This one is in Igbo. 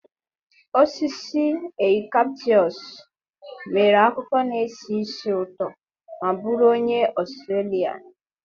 Osisi eucalyptus nwere akwụkwọ na-esi ísì ụtọ ma bụrụ onye Australia.